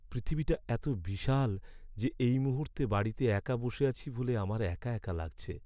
পৃথিবীটা এত বিশাল যে এই মুহূর্তে বাড়িতে একা বসে আছি বলে আমার একা একা লাগছে!